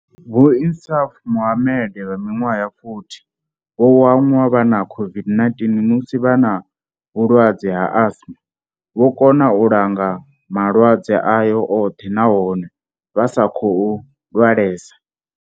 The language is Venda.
Vho Insaaf Mohammed vha minwaha ya 40 vho wanwa vha na COVID-19 musi vha na vhulwadze ha asima, vho kona u langa malwadze aya oṱhe nahone vha sa tou lwalesa.